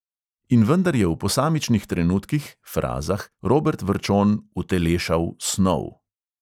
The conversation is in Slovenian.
In vendar je v posamičnih trenutkih robert vrčon utelešal snov.